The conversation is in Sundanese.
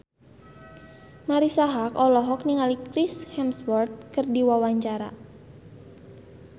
Marisa Haque olohok ningali Chris Hemsworth keur diwawancara